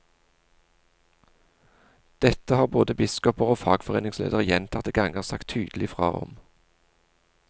Dette har både biskoper og fagforeningsledere gjentatte ganger sagt tydelig fra om.